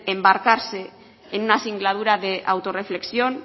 embarcarse en una singladura de autorreflexión